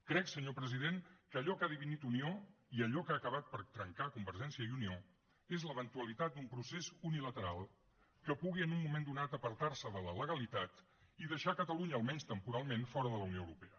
crec senyor president que allò que ha dividit unió i allò que ha acabat per trencar convergència i unió és l’eventualitat d’un procés unilateral que pugui en un moment donat apartar se de la legalitat i deixar catalunya almenys temporalment fora de la unió europea